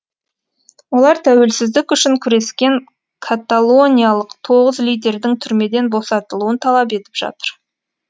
олар тәуелсіздік үшін күрескен каталониялық тоғыз лидердің түрмеден босатылуын талап етіп жатыр